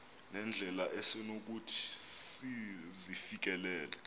nendlela esonokuthi sizifikelele